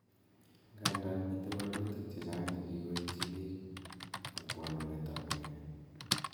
Ndandan miten wolutik chechang che kigoityi pik ak pwanunentap mioni.